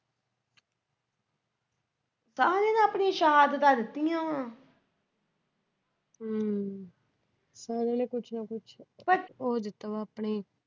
ਸਾਰਿਆਂ ਨੇ ਆਪਣੀਆਂ ਸ਼ਹਾਦਤਾਂ ਦਿੱਤੀਆਂ।